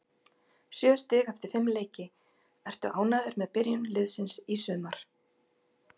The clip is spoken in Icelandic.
Sjö stig eftir fimm leiki, ertu ánægður með byrjun liðsins í sumar?